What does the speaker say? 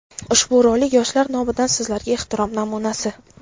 Ushbu rolik yoshlar nomidan Sizlarga ehtirom namunasi!.